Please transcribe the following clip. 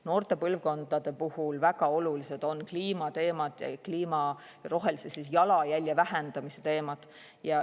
Noorte põlvkondade puhul on väga olulised kliimateemad ja jalajälje vähendamise teemad.